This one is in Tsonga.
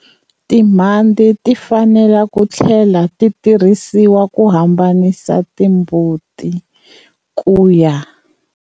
Timhandze ti fanele ku tlhlela ti tirhisiwa ku habanisa timbuti ku ya.